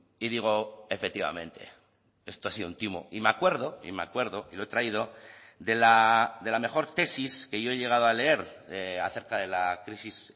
y digo efectivamente esto ha sido un timo y me acuerdo y me acuerdo y lo he traído de la mejor tesis que yo he llegado a leer acerca de la crisis